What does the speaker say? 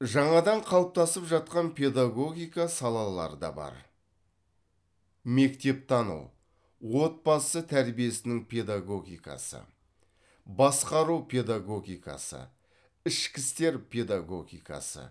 жаңадан қалыптасып жатқан педагогика салалары да бар мектептану отбасы тәрбиесінің педагогикасы басқару педагогикасы ішкі істер педагогикасы